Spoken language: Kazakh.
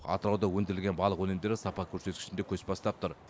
атырауда өндірілген балық өнімдері сапа көрсеткішінде көш бастап тұр